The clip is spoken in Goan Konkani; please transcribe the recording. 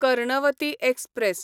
कर्णवती एक्सप्रॅस